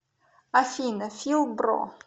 афина фил бро